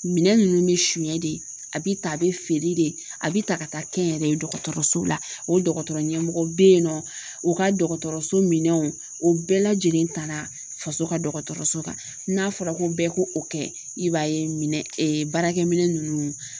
Minɛn ninnu bɛ sonɲɛ de a bɛ ta a bɛ feere de a bɛ ta ka taa kɛ n yɛrɛ ye dɔgɔtɔrɔso la o dɔgɔtɔrɔ ɲɛmɔgɔ bɛ yen nɔ o ka dɔgɔtɔrɔso minɛnw o bɛɛ lajɛlen taara faso ka dɔgɔtɔrɔso kan n'a fɔra ko bɛɛ ko o kɛ i b'a ye minɛn baarakɛ minɛn ninnu